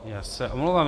Já se omlouvám.